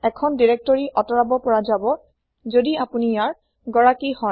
এখন দিৰেক্তৰি আতৰাব পৰা যাব যদি আপুনি ইয়াৰ গৰাকি হয়